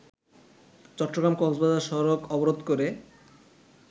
চট্টগ্রাম-কক্সবাজার সড়ক অবরোধ করে